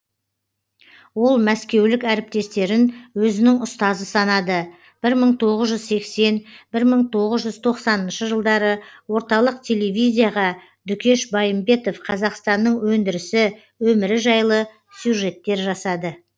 ол мәскеулік әріптестерін өзінің ұстазы санады бір мың тоғыз жүз сексен бір мың тоғыз жүз тоқсаныншы жылдары орталық телевизияға дүкеш байымбетов қазақстанның өндірісі өмірі жайлы сюжеттер жасады